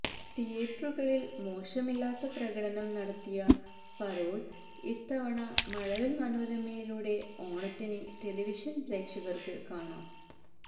തിയറ്ററുകളില് മോശമില്ലാത്ത പ്രകടനം നടത്തിയ പരോള് ഇത്തവണ മഴവില് മനോരമയിലൂടെ ഓണത്തിന് ടെലിവിഷന് പ്രേക്ഷകര്ക്ക് കാണാം